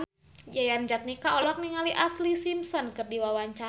Yayan Jatnika olohok ningali Ashlee Simpson keur diwawancara